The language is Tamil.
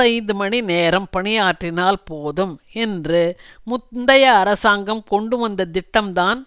ஐந்து மணிநேரம் பணியாற்றினால் போதும் என்று முந்தைய அரசாங்கம் கொண்டுவந்த திட்டம்தான்